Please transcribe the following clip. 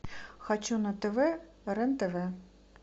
хочу на тв рен тв